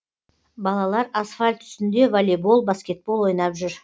балалар асфальт үстінде волейбол баскетбол ойнап жүр